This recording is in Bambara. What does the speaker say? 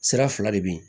Sira fila de be yen